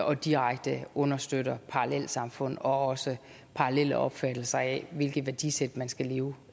og direkte understøtter parallelsamfund og også parallelle opfattelser af hvilket værdisæt man skal leve